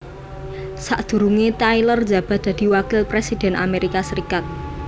Sakdurunge tyler njabat dadi Wakil Presiden Amerika Serikat